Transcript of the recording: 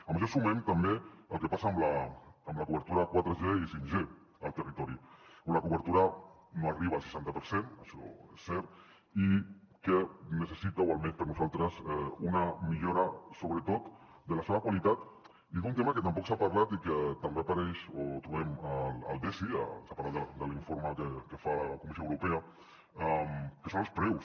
a això sumem també el que passa amb la cobertura 4g i 5g al territori on la cobertura no arriba al seixanta per cent això és cert i que necessita o almenys per a nosaltres una millora sobretot de la seva qualitat i d’un tema que tampoc s’ha parlat i que també apareix o trobem al desi separat de l’informe que fa la comissió europea que són els preus